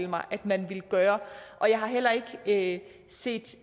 mig man ville gøre og jeg har heller ikke set